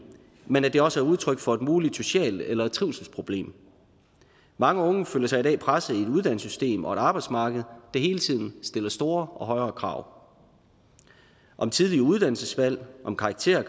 men at det også er udtryk for et muligt socialt eller trivselsproblem mange unge føler sig i dag presset i et uddannelsessystem og på et arbejdsmarked der hele tiden stiller store og stadig højere krav om tidlige uddannelsesvalg og om karakterer